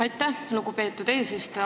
Aitäh, lugupeetud eesistuja!